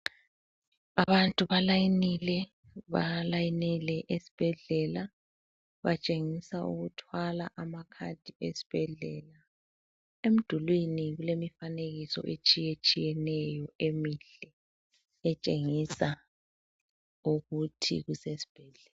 Abantu balayinile balayinele esibhedlela. Batshengisa ukuthwala amakhadi esbhedlela. Emdulini kulemifanekiso etshiyetshiyeneyo emihle etshengisa ukuthi kusesbhedlela.